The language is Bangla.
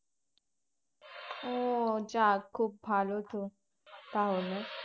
ও যাক খুব ভালো তো তাহলে